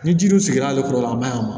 Ni jiri dun sigira ale kɔrɔ a man ɲi a ma